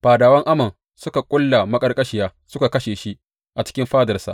Fadawan Amon suka ƙulla maƙarƙashiya suka kashe shi a cikin fadarsa.